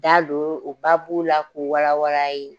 Da don o la k'u wala wala a' ye.